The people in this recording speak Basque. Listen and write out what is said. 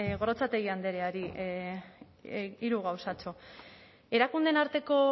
gorrotxategi andreari hiru gauzatxo erakundeen arteko